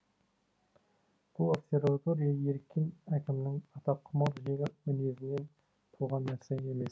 бұл обсерватория еріккен әкімнің атаққұмар жеңіл мінезінен туған нәрсе емес